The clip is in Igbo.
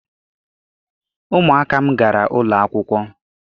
Ụmụaka m gara ụlọ akwụkwọ.